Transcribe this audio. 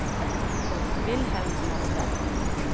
Wilhelm Sande